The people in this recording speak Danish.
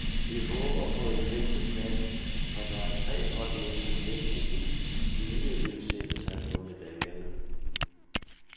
Vi håber på en femte plads, for der er tre hold med, som næsten helt givet vil sætte sig på medaljerne.